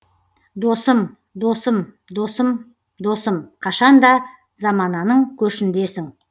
досым досым досым досым қашанда замананың көшіндесің